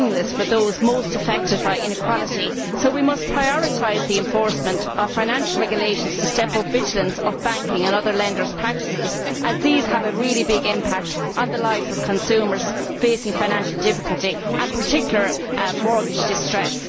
for those most affected by inequality will be meaningless, so we must prioritise the enforcement of financial regulations to step up vigilance of banking and other lenders' practices, as these have a really big impact on the lives of consumers facing financial difficulty and, in particular, mortgage distress.